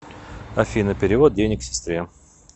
афина перевод денег сестре